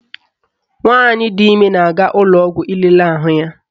Nwaanyị di ime na-aga ụlọọgwọ ilele ahụ ya